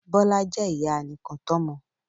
Bọ́lá jẹ́ ìyá anìkàntọ́mọ